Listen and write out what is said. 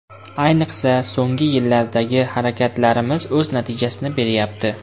Ayniqsa, so‘nggi yillardagi harakatlarimiz o‘z natijasini beryapti.